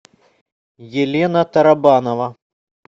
елена тарабанова